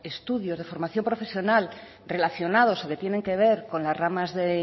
estudios de formación profesional relacionados o que tienen que ver con las ramas de